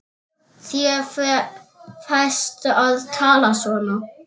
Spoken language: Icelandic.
Þér ferst að tala svona!